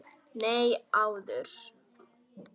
Nei, áður.